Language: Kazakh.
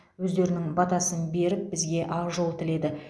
өздерінің батасын беріп бізге ақжол тіледі